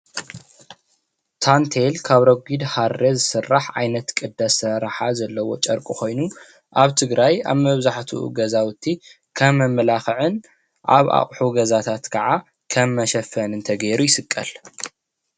ታንቴል ካብ ረጉድ ሃሪ ዝስራሕ ዓይነት ቅዲ አስራራሓ ዘለዎ ጨርቂ ኮይኑ አብ ትግራይ አብ መብዘሕትኡ ገዛዉቲ ከም መመላኽዕን አብ አቑሑ ገዛታት ካዓ ከም መሽፈኒ ተገይሩ ይስቀል፡፡